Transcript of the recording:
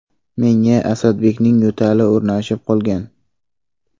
Menga Asadbekning yo‘tali o‘rnashib qolgan.